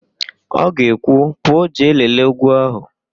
Ọ ga-ekwu, "pụọ jee lelee úgwú ahụ"!